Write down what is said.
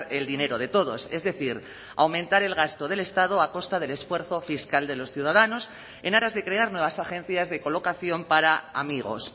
el dinero de todos es decir aumentar el gasto del estado a costa del esfuerzo fiscal de los ciudadanos en aras de crear nuevas agencias de colocación para amigos